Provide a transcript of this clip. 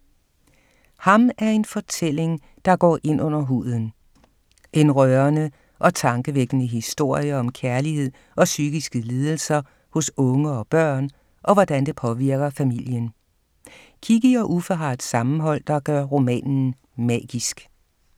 Ham er en fortælling, der går ind under huden. En rørende og tankevækkende historie om kærlighed og psykiske lidelser hos unge og børn, og hvordan det påvirker familien. Kikki og Uffe har et sammenhold, der gør romanen magisk